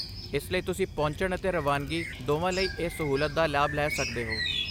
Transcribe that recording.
ਇਸ ਲਈ ਤੁਸੀਂ ਪਹੁੰਚਣ ਅਤੇ ਰਵਾਨਗੀ ਦੋਵਾਂ ਲਈ ਇਸ ਸਹੂਲਤ ਦਾ ਲਾਭ ਲੈ ਸਕਦੇ ਹੋ।